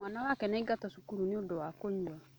Mwana wake nĩaingatwo cukuru nĩũndũ wa kuiya.